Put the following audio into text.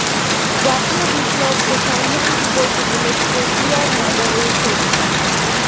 জাতীয় বিপ্লব ও সংহতি দিবস উপলক্ষে জিয়ার মাজারে শ্রদ্ধা